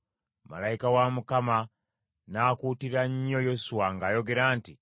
Malayika wa Mukama n’akuutira nnyo Yoswa ng’ayogera nti,